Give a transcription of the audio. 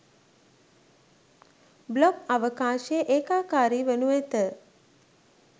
blog අවකාශය ඒකාකාරී වනු ඇත